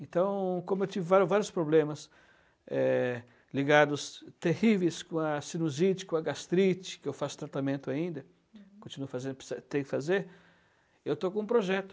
Então, como eu tive vários vários problemas é ligados terríveis com a sinusite, com a gastrite, que eu faço tratamento ainda, uhum, continuo fazendo, tenho que fazer, eu estou com um projeto.